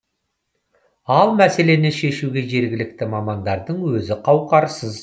ал мәселені шешуге жергілікті мамандардың өзі қауқарсыз